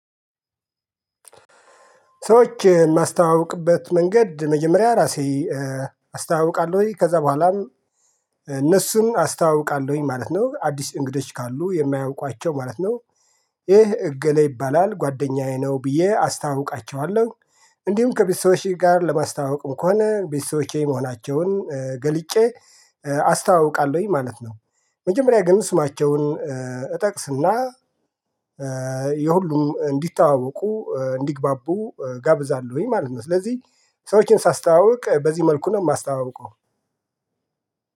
ሰዎች የማስተዋውቅበት መንገድ መጀመሪያ ራሴ አስተዋውቃለሁ ከዛ በኋላም እነሱን አስተዋውቃለሁኝ ማለት ነው አዲስ እንግዶች ካሉ የማያውቋቸው ማለት ነው። ይህ እገሌ ይባላል ጓደኛዬ ነው ብዬ አስታውቃቸዋለሁ። እንዲሁም ከቤተሰቦቼ ጋር ለማስታወቅ ከሆነ ቤተሰቦቼ መሆናቸውን ገልጬ አስታዋውቃለሁኝ ማለት ነው። መጀመሪያ ግን ስማቸውን እጠቅስና የሁሉም እንዲታወቁ እንዲግባቡ ጋብዛለሁኝ ማለት ነው። ስለዚህ ሰዎችን ሳስታውቅ በዚህ መልኩ ነው ማስታዋውቀው።